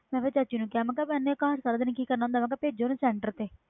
ਮੈਂ ਫਿਰ ਚਾਚੀ ਨੂੰ ਕਿਹਾ ਇੰਨੇ ਕਿ ਕਰਨਾ ਹੁੰਦਾ ਘਰ ਭੇਜੋ ਇਹਨੂੰ centre ਤੇ